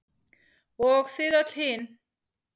Og þið öll hin.